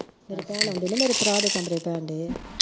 ਮੇਰੀ ਭੈਣ ਆ ਨਾ ਮੇਰੇ ਭਰਾ ਦੇ ਕਮਰੇ ਪੈਣ ਡਏ ਆ